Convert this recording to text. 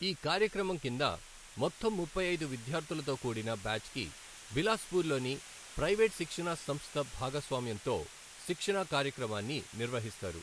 ఈ కార్యక్రమం కింద మొత్తం ముప్పై ఐదు విద్యార్ధులతో కూడిన బ్యాచ్కి బిలాస్పూర్లోని ప్రైవేటు శిక్షణా సంస్థ భాగస్వామ్యంతో శిక్షణా కార్యక్రమాన్ని నిర్వహిస్తారు.